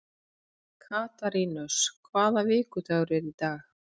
Katarínus, hvaða vikudagur er í dag?